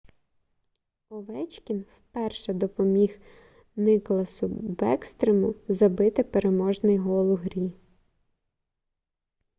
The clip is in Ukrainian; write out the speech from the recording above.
овечкін вперше допоміг никласу бекстрему забити переможний гол у грі